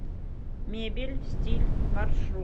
мебель стиль маршрут